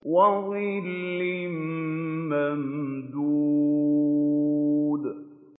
وَظِلٍّ مَّمْدُودٍ